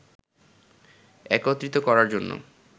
একত্রিত করার জন্য